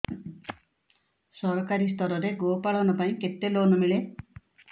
ସରକାରୀ ସ୍ତରରେ ଗୋ ପାଳନ ପାଇଁ କେତେ ଲୋନ୍ ମିଳେ